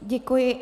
Děkuji.